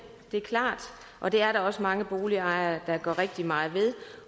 det er klart og det er der også mange boligejere der gør rigtig meget ved